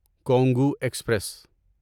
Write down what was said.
Congo express